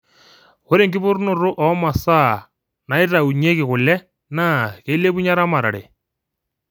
ore enkipotunoto oo masaa naitaunyieki kule naa keilepunyie eramatare